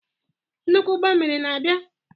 Nnukwu ụgbọ mmiri na-abịa?